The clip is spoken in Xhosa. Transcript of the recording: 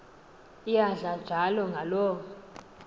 iyadla njalo ngaloo